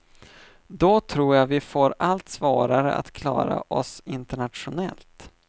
Då tror jag vi får allt svårare att klara oss internationellt.